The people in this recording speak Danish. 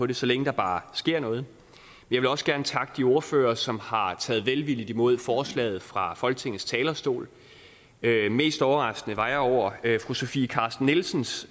det så længe der bare sker noget jeg vil også gerne takke de ordførere som har taget velvilligt imod forslaget fra folketingets talerstol mest overrasket var jeg over fru sofie carsten nielsens